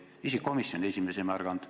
Isegi komisjoni esimees ei märganud.